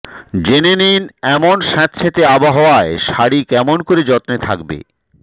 জেনে নিন এমন স্যাঁতস্যাঁতে আবহাওয়ায় শাড়ি কেমন করে যত্নে থাকবে